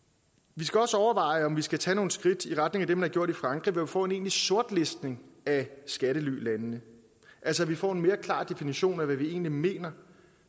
vi skal også overveje om vi skal tage nogle skridt i retning af det man har gjort i frankrig ved at få en egentlig sortlistning af skattelylandene altså at vi får en mere klar definition af hvad vi egentlig mener